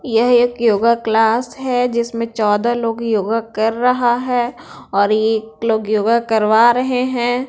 यह एक yoga class है जिसमें चौदह लोग योगा कर रहा है और एक लोग योगा करवा रहे है।